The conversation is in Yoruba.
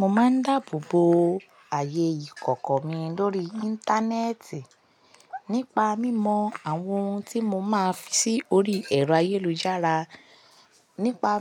Mo máa ń dáàbò bo ààyè ìkọ̀kọ̀ mi lórí Íńtánẹ́ẹ̀tì nípa mímọ àwọn ohun tí mo máa fi sórí ẹ̀rọ ayélujára. Nípa